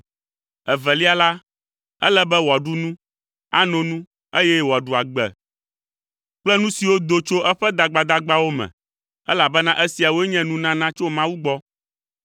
evelia la, ele be wòaɖu nu, ano nu eye wòaɖu agbe kple nu siwo do tso eƒe dagbadagbawo me elabena esiawoe nye nunana tso Mawu gbɔ.